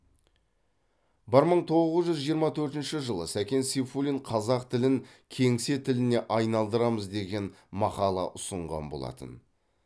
бір мың тоғыз жүз жиырма төртінші жылы сәкен сейфуллин қазақ тілін кеңсе тіліне айналдырамыз деген мақала ұсынған болатын